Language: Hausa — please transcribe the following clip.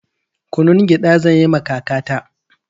Kunun gyaɗa zanyiwa kakata